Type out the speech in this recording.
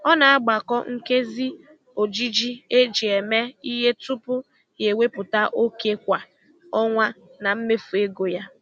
Ọ na-agbakọ nkezi ojiji eji eme ihe tupu ya ewepụta oke kwa ọnwa na mmefu ego ya.